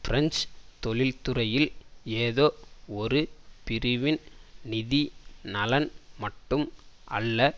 French தொழிற்துறையில் ஏதோ ஒரு பிரிவின் நிதி நலன் மட்டும் அல்ல